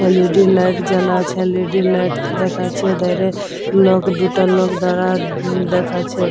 LED. Light জ্বালা আছে LED. দেখাচ্ছে ধারে লোক দুটা লোক দাঁড়া উম দেখাচ্ছে।